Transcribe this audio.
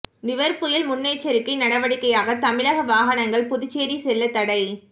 நிவர் புயல் முன்னெச்சரிக்கை நடவடிக்கையாக தமிழக வாகனங்கள் புதுச்சேரி செல்ல தடை